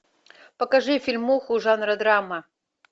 покажи фильмуху жанра драма